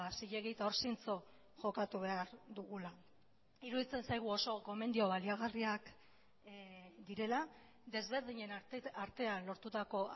zilegi eta hor zintzo jokatu behar dugula iruditzen zaigu oso gomendio baliagarriak direla desberdinen artean lortutako